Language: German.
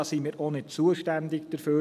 Wir sind auch nicht zuständig dafür.